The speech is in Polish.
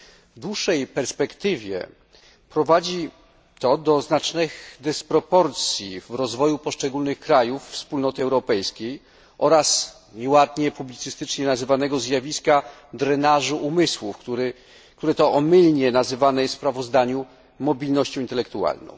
W dłuższej perspektywie prowadzi to do znacznych dysproporcji w rozwoju poszczególnych krajów Wspólnoty Europejskiej oraz do nieładnie publicystycznie nazywanego zjawiska drenażu umysłów, które to omylnie nazywane jest w sprawozdaniu mobilnością intelektualną.